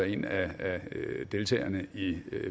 en af deltagerne i